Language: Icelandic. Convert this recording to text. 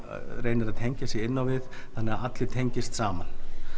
reynir að tengja sig inn á við þannig að allir tengist saman